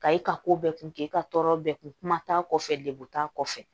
Ka e ka ko bɛɛ kun kɛ e ka tɔɔrɔ bɛɛ kun kuma t'a kɔfɛ degun t'a kɔfɛ